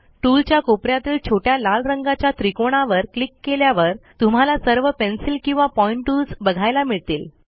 टूलच्या कोप यातील छोट्या लाल रंगाच्या त्रिकोणावर क्लिक केल्यावर तुम्हाला सर्व पेन्सिल किंवा पॉईंट टूल्स बघायला मिळतील